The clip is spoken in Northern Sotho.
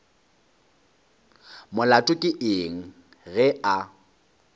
molato ke eng ge a